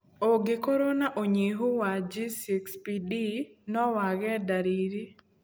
Ũngĩkorwo na ũnyihu wa G6PD no wage ndariri.